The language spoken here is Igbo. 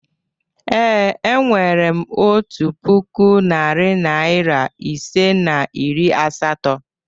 Ee, e nwere m otu puku, narị naịra ise na iri asatọ.